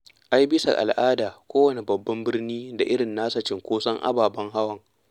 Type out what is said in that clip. Ai bisa al'ada kowane babban birni da irin nasa cunkoson ababen hawa.